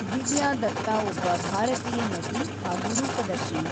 ದಿವ್ಯಾ ದತ್ತಾ ಒಬ್ಬ ಭಾರತೀಯ ನಟಿ ಹಾಗೂ ರೂಪದರ್ಶಿ.